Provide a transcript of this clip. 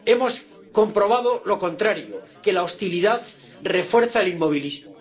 Hemos comprobado lo contrario que la hostilidad refuerza el inmovilismo.